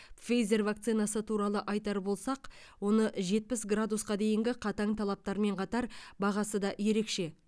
пфейзэр вакцинасы туралы айтар болсақ оны жетпіс градусқа дейінгі қатаң талаптармен қатар бағасы да ерекше